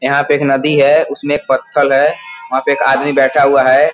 यहां पे एक नदी है। उसमें पत्थल है। वहां पे एक आदमी बैठा हुआ है।